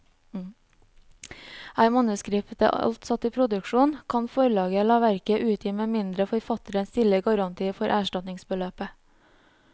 Er manuskriptet alt satt i produksjon, kan forlaget la verket utgi med mindre forfatteren stiller garanti for erstatningsbeløpet.